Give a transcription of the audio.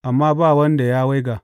amma ba wanda ya waiga.